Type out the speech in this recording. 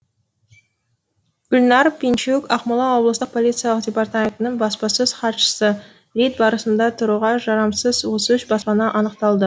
гүлнәр пинчук ақмола облыстық полиция департаментінің баспасөз хатшысы рейд барысында тұруға жарамсыз отыз үш баспана анықталды